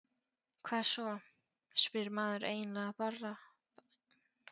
Hvað svo, spyr maður eiginlega bara?